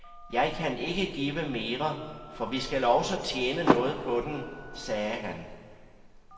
Jeg kan ikke give mere, for vi skal også tjene noget på den, sagde han.